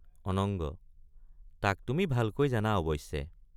অনঙ্গ—তাক তুমি ভালকৈ জানা অৱশ্যে।